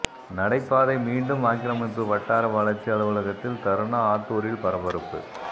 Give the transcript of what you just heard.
நடை பாதை மீண்டும் ஆக்கிரமிப்பு வட்டார வளர்ச்சி அலுவலகத்தில் தர்ணா ஆத்தூரில் பரபரப்பு